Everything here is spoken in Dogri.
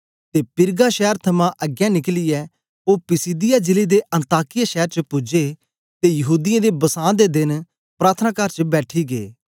ते पिरगा शैर थमां अगें निकलियै ओ पिसिदिया जिले दे अन्ताकिया शैर च पूजे ते यहूदीयें दे बसां दे देन प्रार्थनाकार च बैठी गै